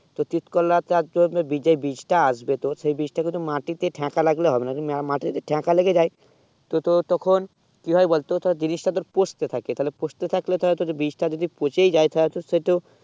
তো তিত করলা আর যে বীজে বীজ তা আসবে তো সেই বীজ তা মাটি তা থেকা লাগলে হবে না মাটি তে যদি থেকা লেগে যায় তো তোর তখন কি হবে বল তো তোর জিনিস তা পোস্টে থাকে তালে পোস্টে থাকলে বীজটা যদি পচে ই যায় তালে তো সেই তো